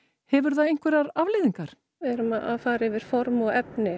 hefur það einhverjar afleiðingar við erum að fara yfir form og efni